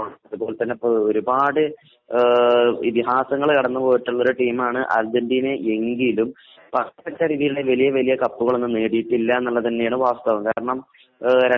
നേരെമറിച്ചു അർജന്റീനയുടെ കാര്യം എടുത്തുനോക്കുകയാണെങ്കിൽ ഇതിഹാസ താരമായിട്ടുള്ള ഡീഗോ മറഡോണ ഒരുപാട് ഇതിഹാസങ്ങൾ കടന്നുപോയിട്ടുള്ള ടീമാണ് അർജന്റീന എങ്കിലും